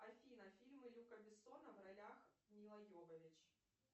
афина фильмы люка бессона в ролях мила йовович